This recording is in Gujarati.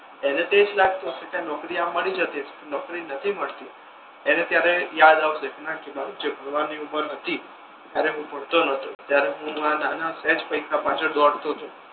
એને તો એ જ લાગતુ હશે કે નોકરી આવા મળી જતી હશે નોકરી નથી મળતી ત્યારે યાદ આવસે ના કે જ્યારે ભણવાની ઉંમર હતી ત્યારે હુ ભણતો નતો ત્યારે હુ આ નાના સેજ પૈસા પછાળ દોડતો તો